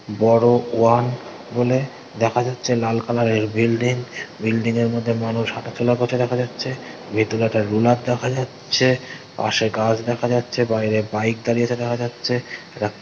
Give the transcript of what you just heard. বড়ো ওয়ান বলে দেখা যাচ্ছে লাল কালার -এর বিল্ডিং বিল্ডিং -এর মধ্যে মানুষ হাঁটাচলা করছে দেখা যাচ্ছে ভেতরে একটা রোলার দেখা যাচ্ছে পাশে গাছ দেখা যাচ্ছে বাইরে বাইক দাঁড়িয়ে আছে দেখা যাচ্ছে একটা--